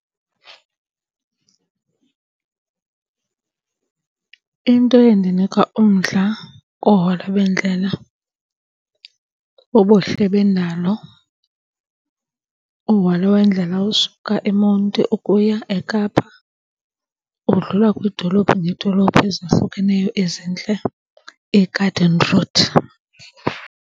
Into endinika umdla koohola bendlela bubuhle bendalo. Uhola wendlela osuka eMonti ukuya eKapa udlula kwiidolophu ngeedolophu ezahlukeneyo ezintle, iGarden Route.